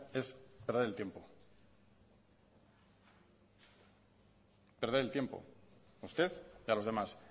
es perder el tiempo perder el tiempo usted y a los demás